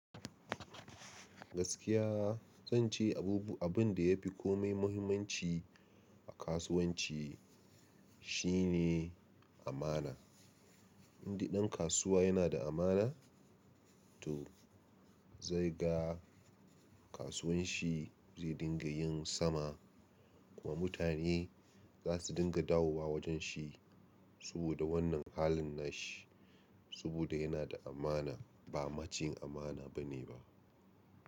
Gaskiya zan ce abubu- abun da ya fi komai muhimmanci Kasuwanci shi ne amana. Duk ɗan kasuwa yana da amana? To zai ga kasuwan shi zai dinga yin sama kuma mutane za su dinga dawowa wajen shi saboda wannan halin na shi. Saboda yana da amana ba maciyin amana bane ba.